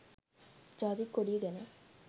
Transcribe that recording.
ජාතික කොඩිය ගැන